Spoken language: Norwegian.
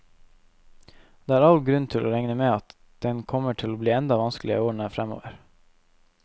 Det er all grunn til å regne med at den kommer til å bli enda vanskeligere i årene fremover.